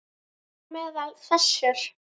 Þar á meðal þessir